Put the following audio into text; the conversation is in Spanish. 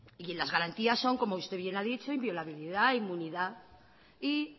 y en las garantías son como usted bien ha dicho inviolabilidad inmunidad y